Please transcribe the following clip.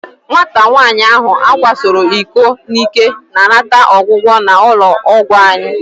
Nwata nwaanyị ahụ a kwasoro iko n'ike na-anata ọgwụgwọ n'ụlọ ọgwụ anyị.